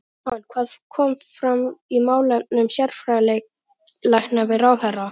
Jóhann, hvað kom fram í málefnum sérfræðilækna við ráðherra?